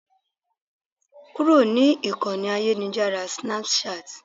Kúrò ní Ìkọ́ni ayélujára Snapchat.